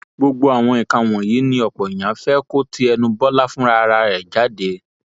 gbogbo àwọn nǹkan wọnyí ni ọpọ èèyàn fẹ kó ti ẹnu bọlá fúnra ẹ jáde